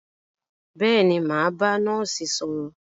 Bẹ́ẹ̀ni, mà á bá nọ́ọ́sì sọ̀rọ̀.